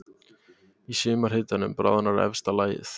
Í sumarhitunum bráðnar efsta lagið.